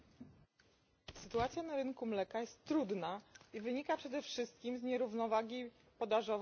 Sytuacja na rynku mleka jest trudna i wynika przede wszystkim z nierównowagi podażowo popytowej.